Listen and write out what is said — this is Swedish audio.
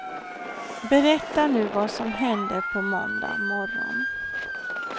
Berätta nu vad som hände på måndag morgon.